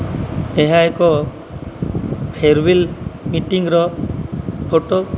ଏହା ଏକ farewell meeting ର ଫଟୋ ।